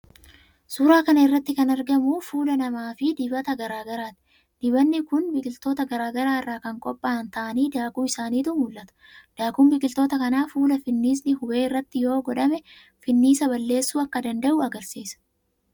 Suuraa kana irratti kan argamu fuula namaafi dibata garaa garaati. Dibatni kunneen biqiltoota garaa garaa irraa kan qopha'an ta'anii daakuu isaaniitu mul'ata. Daakuun biqiloota kanaa fuula finniisni hube irratti yoo godhame finniisa balleessuu akka danda'u agarsiisa.